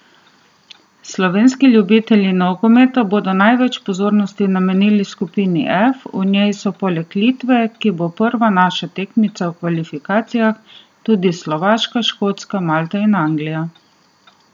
Slovenski ljubitelji nogometa bodo največ pozornosti namenili skupini F, v njej so poleg Litve, ki bo prva naša tekmica v kvalifikacijah, tudi Slovaška, Škotska, Malta in Anglija.